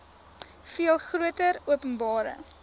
veel groter openbare